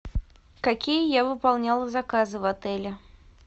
какие я выполняла заказы в отеле